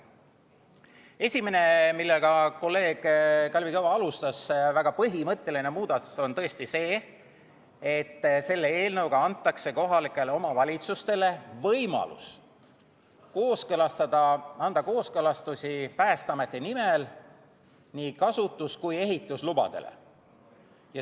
Esimene, väga põhimõtteline muudatus, millega kolleeg Kalvi Kõva alustas, on tõesti see, et selle eelnõuga antakse kohalikele omavalitsustele võimalus anda kooskõlastusi Päästeameti nimel nii kasutus- kui ehituslubadele.